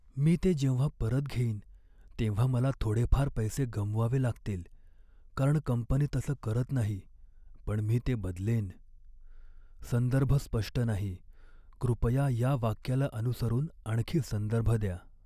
मी ते जेव्हा परत घेईन तेव्हा मला थोडेफार पैसे गमवावे लागतील कारण कंपनी तसं करत नाही, पण मी ते बदलेन. संदर्भ स्पष्ट नाही, कृपया या वाक्याला अनुसरून आणखी संदर्भ द्या